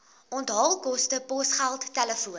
onthaalkoste posgeld telefoon